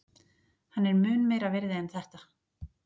Hann er mun meira virði en þetta.